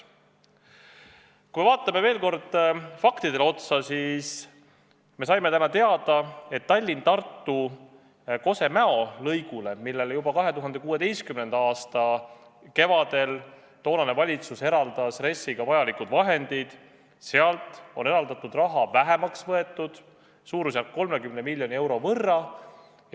Kui vaatame veel kord faktidele otsa, siis saime täna teada, et Tallinna–Tartu maantee Kose–Mäo lõigu puhul, millele valitsus juba 2016. aasta kevadel eraldas RES-is vajalikud vahendid, on eraldatud raha vähemaks võetud, suurusjärgus 30 miljoni euro võrra.